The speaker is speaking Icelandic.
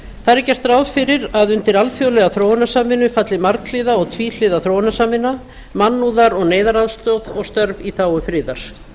er gert ráð fyrir að undir alþjóðlega þróunarsamvinnu falli marghliða og tvíhliða þróunarsamvinna mannúðar og neyðaraðstoð og störf í þágu friðar